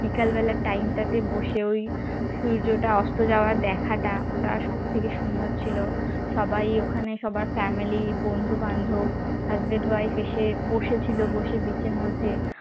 বিকেল বেলার time টাতে বসে ঐ সূর্যটা অস্ত যাওয়া দেখাটা ওটা সব থেকে সুন্দর ছিল সবাই ওখানে সবার family বন্ধু বান্ধব husband wife এসে বসেছিল বসে beach র মধ্যে